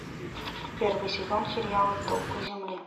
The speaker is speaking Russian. первый сезон сериала столпы земли